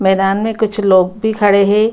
मैदान में कुछ लोग भी खड़े है।